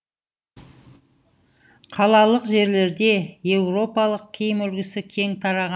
қалалық жерлерде еуропалық киім үлгісі кең тараған